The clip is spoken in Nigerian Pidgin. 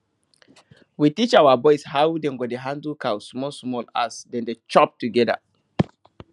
we teach our boys how dem go dey handle cow smallsmall as dem dey chop together